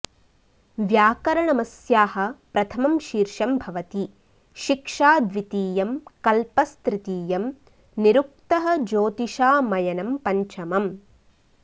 व्याकरणमस्याः प्रथमं शीर्षं भवति शिक्षा द्वितीयं कल्पस्तृतीयं निरुक्तः ज्योतिषामयनं पञ्चमम्